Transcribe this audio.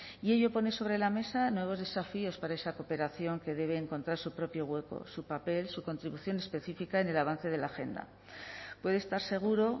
y ello pone sobre la mesa nuevos desafíos para esa cooperación que debe encontrar su propio hueco su papel su contribución específica en el avance de la agenda puede estar seguro